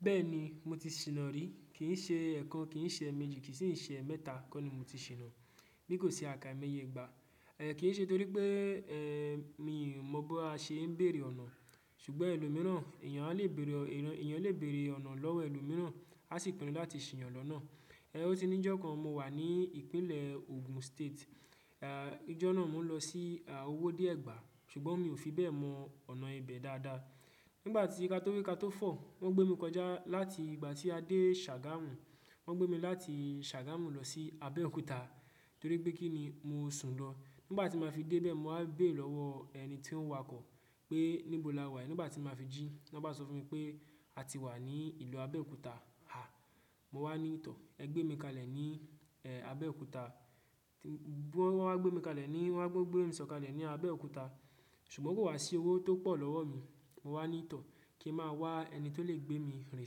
Bẹ́ẹ̀ni, mo ti ṣìnà ri. Kì í ṣe ẹ̀kan, kì í ṣe méjì, kì í sì í ṣe mẹ́ta kọ́ ni mo ti ṣìnà. Biko se à kai moyẹ ìgbà. Ẹ̀ kì í ṣe torí pé, ẹ́, mi ò mọ baa n ṣe ń bèrè ọ̀nà. Ṣùgbọ́n ẹlòmíràn, èèyàn á lè bèrè ọ̀nà lọ́wọ́ ẹlòmíràn, á sì pinu láti ṣìnyàn lọ́nà. Ẹ̀ o tí níjọ́ kan mo wà ní ìpínlẹ̀ Ogun State. Àá, ijọ́ náà mo ń lọ sí, àá, owóde ẹ̀gbà, ṣùgbọ́n mi ò fi bẹ́ẹ̀ mọ ọ̀nà ibẹ̀ dáadáa. Nígbà tí ka tó wi ka tó fọ̀, wọ́n gbé mi kọjá láti ìgbà tí a dé Sagamu, wọ́n gbé mi láti Sagamu lọ sí Abéòkúta torí pé kí ni mo sun lọ. Nígbà tí màá fi dé ibẹ̀, màá bè lọ́wọ́ ẹni tí ó ń wa oko pé níbò lá wà. Nígbà tí màá fi jí, wọ́n ba sọ fún mi pé a ti wà ní ìlú Abéòkúta. Ha! Mo wá ní í tọ̀. Ẹ gbé mi kalẹ̀ ní, ẹ́, Abéòkúta. Wọ́n wa gbé mi kalẹ̀ ní, wọ́n gbé mi sọ̀kalẹ̀ ní Abéòkúta. Sùgbọ́ kò wá sí owó tó pọ̀ lọ́wọ́ mi. Mo wá ní í tọ̀, kí n máa wá ẹni tó lè gbé mi rìn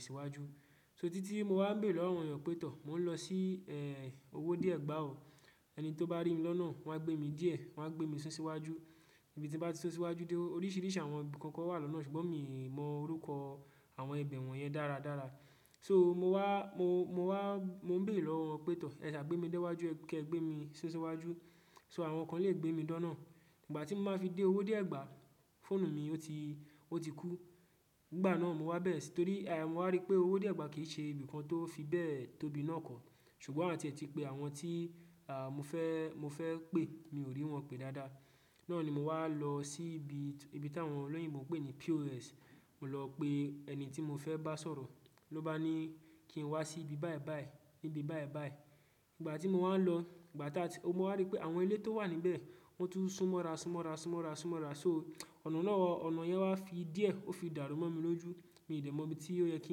síwájú. So títí mo wá ń bèrè lọ́wọ́ àwọn èèyàn pé tọ̀, mò ń lọ sí, ẹ́, owóde ẹ̀gbà ò. Ẹni tó bá rí mi lọ́nà, wọ́n á gbé mi díẹ̀, wọ́n á gbé mi sun síwájú. Ibi tí bà sun síwájú dé oríṣiríṣi àwọn ibi kan kan wà lọ́nà ṣùgbọ́n mi ò mọ orúkọ àwọn ibẹ̀ wọ́n yẹn dáradára. So mo wá, mo, mo wá, mo ń bère lọ́wọ́ pé tọ̀, ẹ sà gbé mi dé'wájú, kí ẹ gbé mi sun síwájú. So àwọn kan lè gbé mi dọ́nà. Ìgbà tí màá fi dé owóde ẹ̀gbà, fóònù mi ó ti, ó ti kú. Nígbà náà mo wá bẹ̀rẹ̀ sí torí, àá, mo wá rí pé owóde ẹ̀gbà kì í ṣe ibi kan tó fi bẹ́ẹ̀ tóbì náà kọ. Ṣùgbọ́n áti e tipè àwọn tí, àá, mo fẹ́, mo fẹ́ pè mi ò rí wọn pé dáadáa. Náà ni mo wá lọ sí ibi, ibi tá àwọn olóyìnbó ń pè ní POS. Mo lọ pé ẹni tí mo fẹ́ bá sọ̀rọ̀. Ló bá ní kí n wá sí ibi báyìí báyìí. Níbi báyìí báyìí. Nígbà tí mo wá ń lọ, nígbà tá, mo wá rí pé àwọn ilé tó wà níbẹ̀, wọ́n tún sún mọ́ra, sún mọ́ra, sún mọ́ra, sún mọ́ra. So ọ̀nà náà, ọ̀nà yẹn wá fi díẹ̀, ó fi dàru mọ́ mi lójú. Mi ò dè mọ ibi tí ó yẹ kí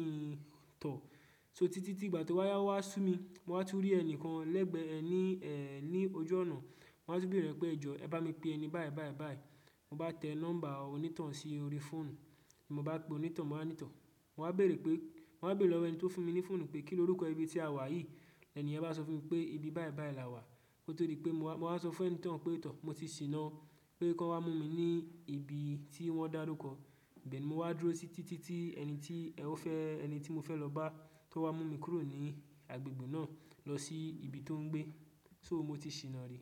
n tọ̀. So títí tí ìgbà tó wá ya, ó wá sún mi, mo wá tún rí ẹnìkan lẹ́gbẹ̀ẹ́ ẹní, ẹ́, ní ojú ọ̀nà. Mo wá tún bèrè pé ẹjọ̀, ẹ bá mi pe ẹni báyìí báyìí báyìí. Mo bá tẹ nọ́ḿbà oní ton sí orí fóònù. Mo bá pe oní ton, mo wá ní tọ̀ mowá bèrè pé, mowá bèrè lọ́wọ́ ẹni tó fúnmi ní fóònù pé kíni orúkọ ibi tí a wà yìí ẹniyẹn bá sọ fúnmi pé ibi báyìí báyìí làwá, kótó di pé mo wá sọ fún oní ton pé moti ṣìnà o pé máa wá múmi ní ibi tí wọ́n dárúkọ. Ibẹ̀ ni mo wá dúró sí títí tí ẹni tí ẹni tí mofẹ́ lọ bá tó wá múmi kúrò ní agbègbè náà, lọ sí ibi tọ́n gbé sọ moti ṣìnà rí.